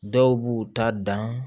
Dɔw b'u ta dan